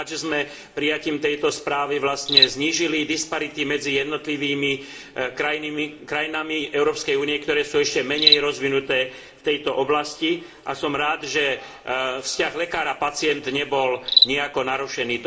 Som rád, že sme prijatím tejto správy vlastne znížili disparity medzi krajinami Európskej únie, ktoré sú ešte menej rozvinuté v tejto oblasti, a som rád, že vzťah lekár a pacient nebol nijako narušený.